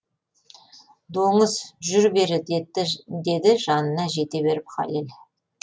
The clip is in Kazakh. доңыз жүр бері деді жанына жете беріп хәлел